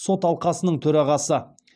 сот алқасының төрағасы